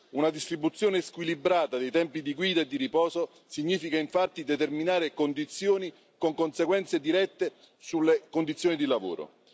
Una distribuzione squilibrata dei tempi di guida e di riposo significa infatti determinare situazioni con conseguenze dirette sulle condizioni di lavoro